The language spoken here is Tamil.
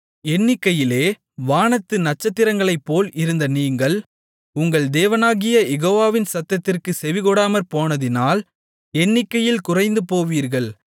எண்ணிக்கையிலே வானத்து நட்சத்திரங்களைப்போல் இருந்த நீங்கள் உங்கள் தேவனாகிய யெகோவாவின் சத்தத்திற்குச் செவிகொடாமற்போனதினால் எண்ணிக்கையில் குறைந்துபோவீர்கள்